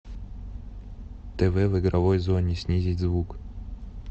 тв в игровой зоне снизить звук